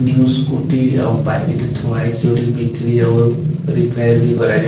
ଯୋଉ ସ୍କୁଟି ଆଉ ବାଇକ୍ ଟେ ଥୁଆ ହେଇଚି। ଯୋଉଠି ବିକ୍ରି ଆଉ ରିପା ର କରାଯାଏ।